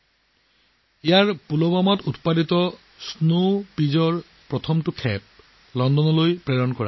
ইয়াত পুলৱামাৰ পৰা অহা প্ৰথমটো বেচ স্নো পীচৰ গোট লণ্ডনলৈ পঠিওৱা হৈছিল